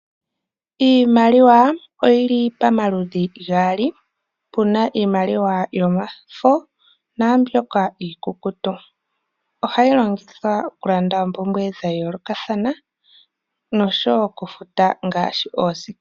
Iimaliwa oyili pamaludhi gaali, puna iimaliwa yomafo naambyoka iikukutu. Ohayi longithwa oku landa oompumbwe dha yoolokathana noshowo oku futa ngaashi oosikola.